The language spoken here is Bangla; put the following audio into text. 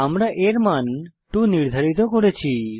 আমরা এর মান 2 নির্ধারিত করেছি